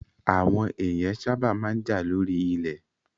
Àwọn èèyàn sábà máa ń jà lórí ilẹ̀